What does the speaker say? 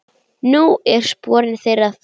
Nú eru sporin þeirra þung.